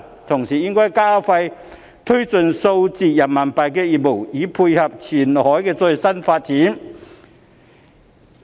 同時，應該加快推進數字人民幣業務，以配合前海的最新發展。